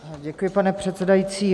Děkuji, pane předsedající.